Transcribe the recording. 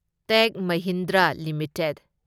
ꯇꯦꯛ Mahindra limited